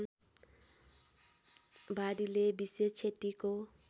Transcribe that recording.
वादीले विशेष क्षतिको